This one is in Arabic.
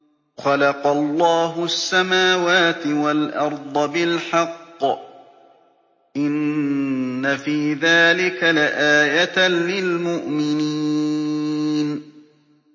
خَلَقَ اللَّهُ السَّمَاوَاتِ وَالْأَرْضَ بِالْحَقِّ ۚ إِنَّ فِي ذَٰلِكَ لَآيَةً لِّلْمُؤْمِنِينَ